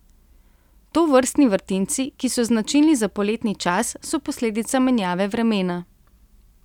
Tovrstni vrtinci, ki so značilni za poletni čas, so posledica menjave vremena.